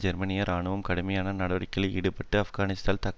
ஜெர்மனிய இராணுவம் கடுமையான நடவடிக்கையில் ஈடுபட்டு ஆப்கானிஸ்தானில்